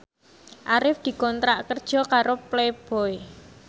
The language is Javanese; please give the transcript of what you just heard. Arif dikontrak kerja karo Playboy